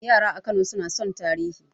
Yara a Kano suna son tarihi